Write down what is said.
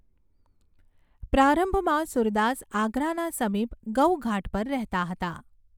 પ્રારંભમાં સૂરદાસ આગ્રાના સમીપ ગઊઘાટ પર રહેતા હતા.